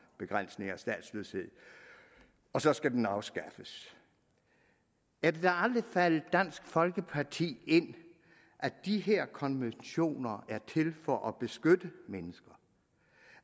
begrænsning af statsløshed og så skal den afskaffes er det da aldrig faldet dansk folkeparti ind at de her konventioner er til for at beskytte mennesker